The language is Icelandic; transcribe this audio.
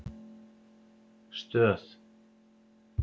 Stöð